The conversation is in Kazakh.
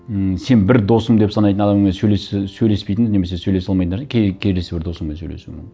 ммм сен бір досым деп санайтын адаммен сөйлеспейтін немесе сөлесе алмайтын нәрсе келесі бір досыңмен сөлесу